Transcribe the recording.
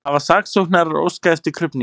Hafa saksóknarar óskað eftir krufningu